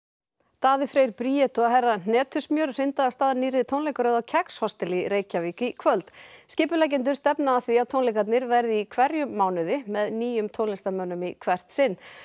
Daði Freyr Bríet og herra hnetusmjör hrinda af stað nýrri tónleikaröð á kex hostel í Reykjavík í kvöld skipuleggjendur stefna að því að tónleikarnir verði í hverjum mánuði með nýjum tónlistarmönnum í hvert sinn